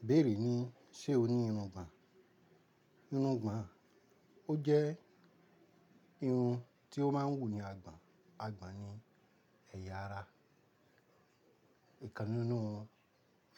Ìbéèrè ni ṣe o ní irun gbàn? Irun gbàn ó jẹ́ irun tí ó máa ń wù ni àn àgbọ̀n. Àgbọ̀n ni ẹ̀yà ara. Ìkàn nìnú